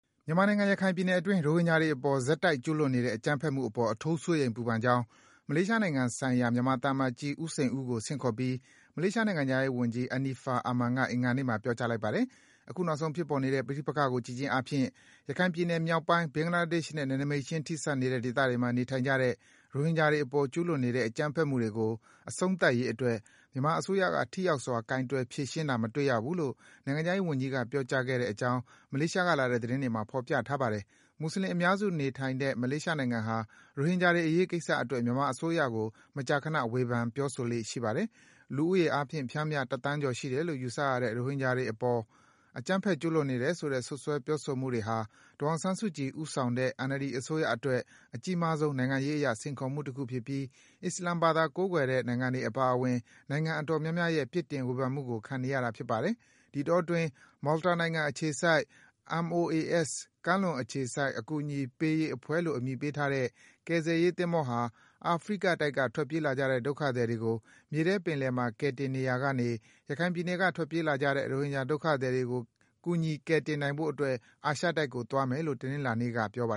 မြန်မာနိုင်ငံ ရခိုင်ပြည်နယ် အတွင်း ရိုဟင်ဂျာတွေ အပေါ် ဆက်တိုက် ကျူးလွန်နေတဲ့ အကြမ်းဖက်မှုတွေ အပေါ် အထူး စိုးရိမ် ပူပန်ကြောင်း မလေးရှား နိုင်ငံဆိုင်ရာ မြန်မာ သံအမတ်ကြီး ဦးစိန်ဦးကို ဆင့်ခေါ်ပြီး မလေးရှား နိုင်ငံခြားရေးဝန်ကြီး Anifah Aman က အင်္ဂါနေ့မှာ ပြောကြားလိုက်ပါတယ်။ အခုနောက်ဆုံး ဖြစ်ပေါ်နေတဲ့ ပဋိပက္ခကို ကြည့်ခြင်းအားဖြင့် ရခိုင်ပြည်နယ် မြောက်ပိုင်း၊ ဘင်္ဂလားဒေ့ရှ်နဲ့ နယ်နိမိတ်ခြင်း ထိစပ်နေတဲ့ ဒေသတွေမှာ နေထိုင်ကြတဲ့ ရိုဟင်ဂျာတွေ အပေါ် ကျူးလွန်နေတဲ့ အကြမ်းဖက်မှုတွေ အဆုံးသတ်ရေး အတွက် မြန်မာအစိုးရက ထိရောက်စွာ ကိုင်တွယ် ဖြေရှင်းတာကို မတွေ့ရဘူးလို့ နိုင်ငံခြားရေး ဝန်ကြီးက ပြောကြားခဲ့တယ်လို့ မလေးရှားကလာတဲ့ သတင်းတွေမှာ ဖော်ပြထားပါတယ်။ မွတ်ဆလင် အများစု နေထိုင်နေတဲ့ မလေးရှားနိုင်ငံဟာ ရိုဟင်ဂျာတွေ အရေးကိစ္စ အတွက် မြန်မာအစိုးရကို မကြာခန ဝေဖန် ပြောဆိုလေ့ ရှိပါတယ်။ လူဦးရေအားဖြင့် ပျမ်းမျှ ၁ သန်းကျော် ရှိတယ်လို့ ယူဆရတဲ့ ရိုဟင်ဂျာအပေါ် အကြမ်းဖက် ကျူးလွန်နေတယ် ဆိုတဲ့ စွပ်စွဲ ပြောဆိုမှုတွေဟာ ဒေါ်အောင်ဆန်းစုကြည် ဦးဆောင်တဲ့ NLD အစိုးရအတွက် အကြီးမားဆုံး နိုင်ငံရေးအရ စိန်ခေါ်မှု တခုဖြစ်ပြီး အစ္စလာမ်ဘာသာ ကိုးကွယ်တဲ့ နိုင်ငံတွေ အပါအဝင် နိုင်ငံအတော်များများရဲ့ပြစ်တင် ဝေဖန်မှုတွေကို ခံနေရတာ ဖြစ်ပါတယ်။ ဒီအတောအတွင်း Malta နိုင်ငံအခြေစိုက်၊ MOAS ကမ်းလွန် အခြေစိုက် အကူအညီရေးအဖွဲ့လို့ အမည်ပေးထားတဲ့ ကယ်ဆယ်ရေး သင်္ဘောဟာ အာဖရိကတိုက်က ထွက်ပြေးလာကြတဲ့ ဒုက္ခသည်တွေကို မြေထဲပင်လယ်မှာ ကယ်တင်နေရာက ရခိုင်ပြည်နယ်က ထွက်ပြေးလာကြတဲ့ ရိုဟင်ဂျာ ဒုက္ခသည်တွေကို ကယ်တင်ဖို့အတွက် အာရှတိုက်ကို သွားမယ်လို့ တနင်္လာနေ့က ပြောပါ